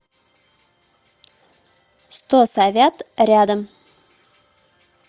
сто совят рядом